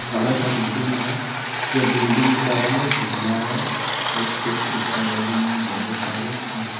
बड़ा सा बिल्डिंग है जो बिल्डिंग का रंग है पीला है और उस पे खिड़कियां लगी हुई है बहुत सारे जिस--